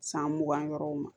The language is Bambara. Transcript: San mugan yɔrɔw ma